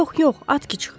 Yox, yox, at ki çıx.